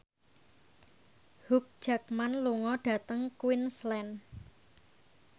Hugh Jackman lunga dhateng Queensland